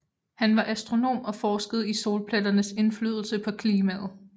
Han var astronom og forskede i solpletternes indflydelse på klimaet